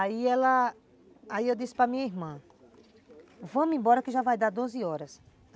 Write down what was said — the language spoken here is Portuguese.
Aí ela, aí eu disse para minha irmã, vamos embora que já vai dar doze horas.